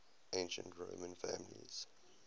ancient roman families